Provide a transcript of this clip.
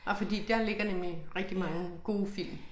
Nej fordi der ligger nemlig rigtig mange gode film